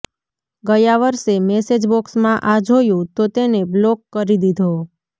ગયા વર્ષે મેસેજ બોક્સમાં આ જોયું તો તેને બ્લોક કરી દીધો